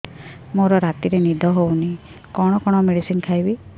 ମୋର ରାତିରେ ନିଦ ହଉନି କଣ କଣ ମେଡିସିନ ଖାଇବି